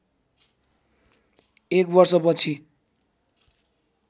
एक वर्षपछि